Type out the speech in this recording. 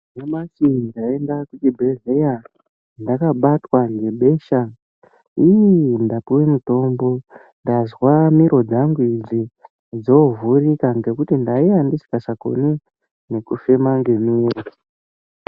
Nyamashi ndaenda kuchibhedhleya ndakabatwa nebesha iii ndapiwe mutombo ndazwa mhiro dzangu idzi dzovhurika ngokuti ndakanga ndisingachakoni ngokufema ngemiro.